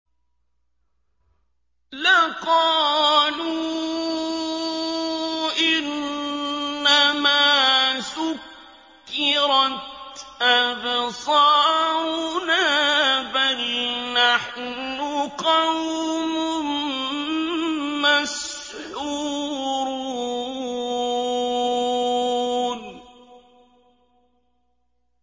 لَقَالُوا إِنَّمَا سُكِّرَتْ أَبْصَارُنَا بَلْ نَحْنُ قَوْمٌ مَّسْحُورُونَ